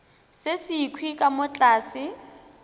se sekhwi ka mo tlase